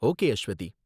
okay, Aswathi